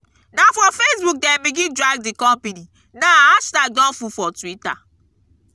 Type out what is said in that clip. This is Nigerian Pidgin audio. na for facebook dem begin drag di company now hashtag don full for twitter.